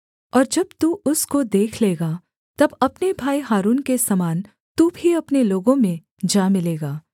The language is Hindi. और जब तू उसको देख लेगा तब अपने भाई हारून के समान तू भी अपने लोगों में जा मिलेगा